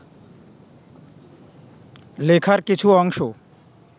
লেখার কিছু অংশ